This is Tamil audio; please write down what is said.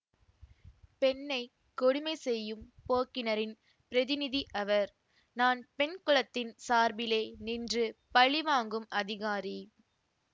பெண்ணை கொடுமை செய்யும் போக்கினரின் பிரதிநிதி அவர் நான் பெண் குலத்தின் சார்பிலே நின்று பழி வாங்கும் அதிகாரி